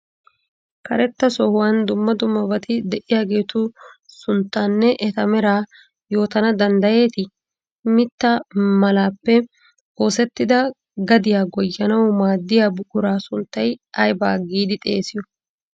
Karetta sohuwan dumma dummabati de'iyageetu sunttaanne eta meraa yootana danddayeetii? Mittta malaappe oosettida gadiya goyyanawu maaddiya buquraa sunttaa ayba giidi xeesiyo?